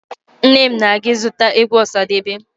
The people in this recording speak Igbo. Nne m na-aga ịzụta egwu ọsadebe